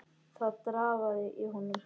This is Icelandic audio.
Það drafaði í honum.